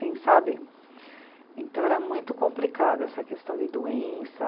Sabe, então era muito complicado essa questão de doença.